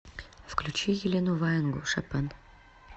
включи елену ваенгу шопен